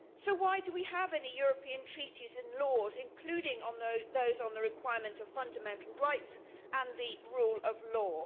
So why do we have any European treaties and laws, including those on the requirement of fundamental rights and the rule of law?